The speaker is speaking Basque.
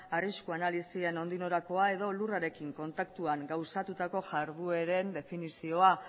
arrisku analisien nondik norakoa edo lurrarekin kontaktuan gauzatutako jardueren definizioa